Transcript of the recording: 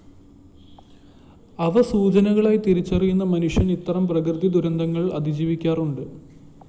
അവ സൂചനകളായി തിരിച്ചറിയുന്ന മനുഷ്യര്‍ ഇത്തരം പ്രകൃതി ദുരന്തങ്ങള്‍ അതിജീവിക്കാറുണ്ട്‌